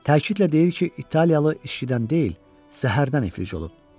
Təkidlə deyir ki, italiyalı içkidən deyil, zəhərdən iflic olub.